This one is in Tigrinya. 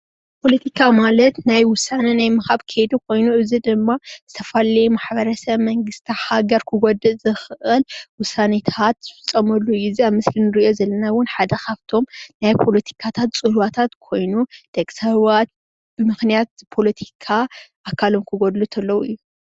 ፖለቲካ ማለት ናይ ወሳነ ናይ ምሃብ ከይዲ ኾይኑ እዙይ ድማ ማሕበረሰብ፣ መንግስቲ ፣ሃገር ክጎድእ ዝኽእል ውሳኔታት ዝፍፀምሉ እዩ። እዙይ ኣብ ምስሊ እንሪኦ ዘለና እውን ሓደ ኻፍቶም ናይ ፓለቲካታት ፅልዋ ኾይኑደቂ ሰባት ብምክናት ፖለቲካ ኣካሎም ክጎድሉ ኮሎ እዩ ።